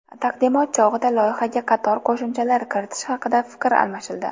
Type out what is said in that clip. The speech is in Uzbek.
Taqdimot chog‘ida loyihaga qator qo‘shimchalar kiritish haqida fikr almashildi.